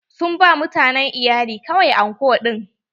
Sun ba mutanen iyali kawai anko ɗin.